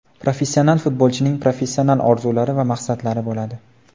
Professional futbolchining professional orzulari va maqsadlari bo‘ladi.